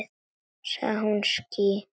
Sagði hún ský?